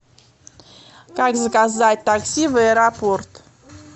как заказать такси в аэропорт